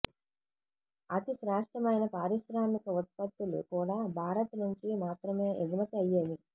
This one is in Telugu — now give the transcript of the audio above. అతి శ్రేష్ఠమైన పారిశ్రామిక ఉత్పత్తులు కూడ భారత్ నుంచి మాత్రమే ఎగుమతి అయ్యేవి